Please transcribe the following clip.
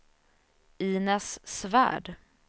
Inez Svärd